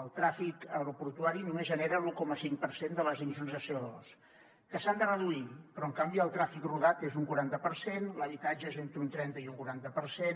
el trànsit aeroportuari només genera l’un coma cinc per cent de les emissions de code reduir però en canvi el trànsit rodat és d’un quaranta per cent l’habitatge és entre un trenta i un quaranta per cent